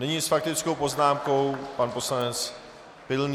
Nyní s faktickou poznámkou pan poslanec Pilný.